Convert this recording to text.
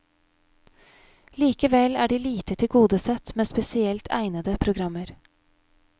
Likevel er de lite tilgodesett med spesielt egnede programmer.